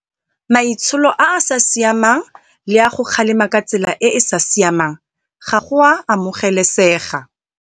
Maitsholo a a sa siamang le go kgalema ka tsela e e sa siamang ga go a amogelesega